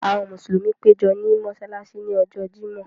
Àwọn Musulumi pẹ̀jọ ní Mossalàssí ní Ọ̀jọ̀ Jímọ̀